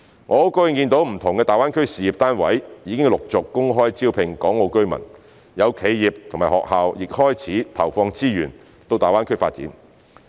我很高興見到不同的大灣區事業單位已陸續公開招聘港澳居民，有企業及學校亦開始投放資源到大灣區發展。